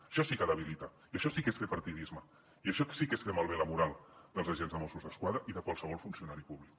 això sí que debilita i això sí que és fer partidisme i això sí que és fer malbé la moral dels agents de mossos d’esquadra i de qualsevol funcionari públic